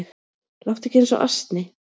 Láttu ekki eins og asni